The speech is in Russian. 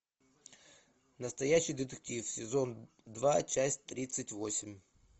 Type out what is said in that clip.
настоящий детектив сезон два часть тридцать восемь